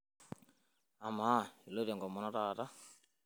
Amaa, iloito enkomono taata?